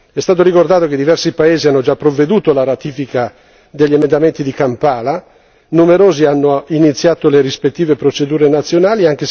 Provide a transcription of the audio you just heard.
È stato ricordato che diversi paesi hanno già provveduto alla ratifica degli emendamenti di Kampala e numerosi hanno iniziato le rispettive procedure nazionali.